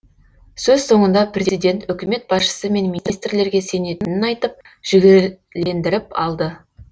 сөз соңында президент үкімет басшысы мен министрлерге сенетінін айтып жігерлендіріп алды